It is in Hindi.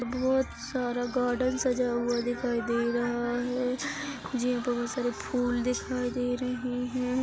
बहुत सारा गार्डेन सजा हुआ दिखाई दे रहा है जिन पे बहुत सारे फूल दिखाई दे रहे हैं।